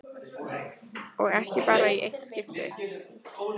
Og ekki bara í eitt skipti.